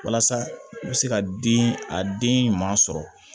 Walasa i bɛ se ka den a den ɲuman sɔrɔ